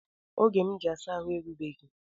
Oge m ji asa ahụ erugbeghi